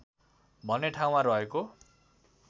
भन्ने ठाउँमा रहेको